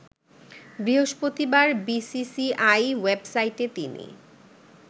বৃহস্পতিবার বিসিসিআই ওয়েবসাইটে তিনি